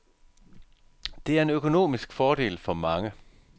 Det er en økonomisk fordel for mange.